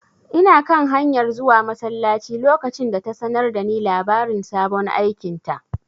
Ina kan hanyar zuwa masallaci lokacin da ta sanar da ni labarin sabon aikinta.